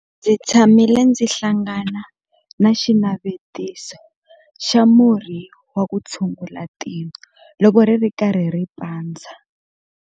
Ndzi tshamile ndzi hlangana na xinavetiso xa murhi wa ku tshungula tino loko ri ri karhi ri pandza.